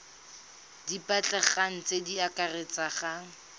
di batlegang tse di akaretsang